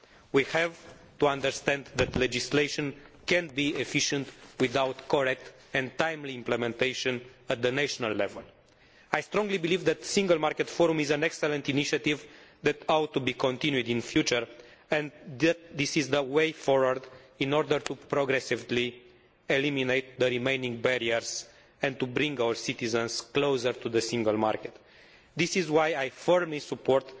We have to understand that legislation cannot be efficient without correct and timely implementation at the national level. I strongly believe that the Single Market Forum is an excellent initiative that ought to be continued in future, and that this is the way forward in order to progressively eliminate the remaining barriers and to bring our citizens closer to the single market. This is why I firmly support